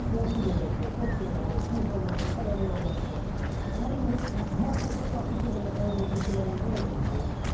Qonşu görəcək, dost görəcək, sinif yoldaşı, tələbə yoldaşı, nə bilim, marketdə satıcı belə sənə deyəcək ki, müəllim, yenə uduzdunuz?